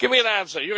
Give me an answer